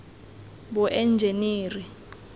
boenjeniri